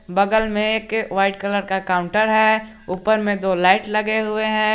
बगल में एक वाइट कलर का काउंटर है ऊपर में दो लाइट लगे हुए हैं।